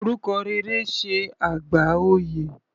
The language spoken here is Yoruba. Orúkọ rere ṣe àgbà oyè.